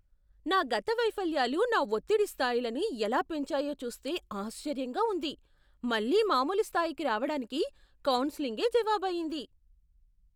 నా గత వైఫల్యాలు నా ఒత్తిడి స్థాయిలని ఎలా పెంచాయో చూస్తే ఆశ్చర్యంగా ఉంది. మళ్ళీ మామూలు స్థాయికి రావడానికి కౌన్సెలింగే జవాబయ్యింది.